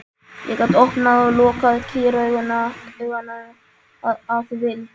Ég gat opnað og lokað kýrauganu að vild.